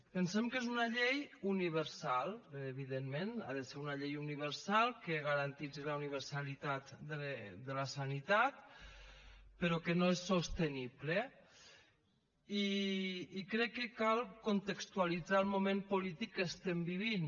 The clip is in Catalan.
pensem que és una llei universal evidentment ha de ser una llei universal que garanteixi la universalitat de la sanitat però que no és sostenible i crec que cal contextualitzar el moment polític que estem vivint